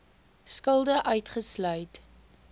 skulde uitgesluit